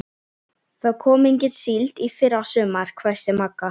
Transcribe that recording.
Það kom engin síld í fyrra sumar, hvæsti Magga.